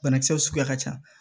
Banakisɛw suguya ka ca